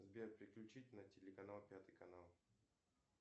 сбер переключить на телеканал пятый канал